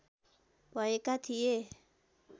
भएका थिए